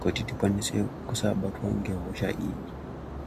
kuti tikwanise kusabatwa ngehosha iyi.